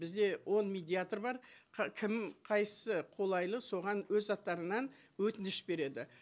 бізде он медиатор бар кім қайсысы қолайлы соған өз аттарынан өтініш береді